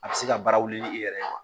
A bɛ se ka baara wili i yɛrɛ ye